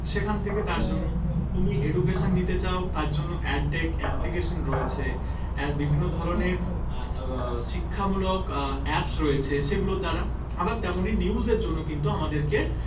সেখান থেকে তার জন্য হম হম হম তুমি education নিতে চাও তার জন্য application রয়েছে বিভিন্ন ধরনের হম হম আহ শিক্ষামূলক আহ apps রয়েছে সেগুলোর দ্বারা আবার তেমনই news এর জন্য কিন্তু আমাদেরকে